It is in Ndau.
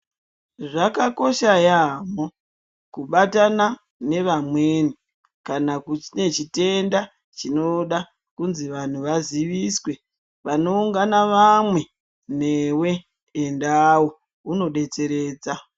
Zvakakosha yambo kubatana nevamweni kana kunechitenda chinoda kuti vandu vaziviswe panoungana vamwe newewo endawo unodetseredza